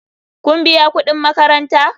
Kun biya kudin makaranta?